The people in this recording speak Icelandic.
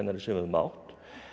sem við höfum átt